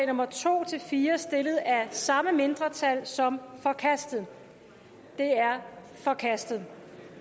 nummer to fire stillet af samme mindretal som forkastet de er forkastet